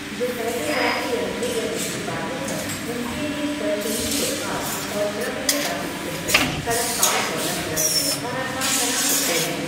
जो पैदल यात्री अंधे या दृष्टिबाधित हैं, उनके लिए स्पर्शनीय फुटपाथ और श्रव्य ट्रैफिक सिग्नल, सड़क पार करना सुरक्षित और आसान बना सकते हैं।